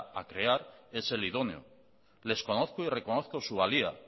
a crear es el idóneo les conozco y reconozco su valía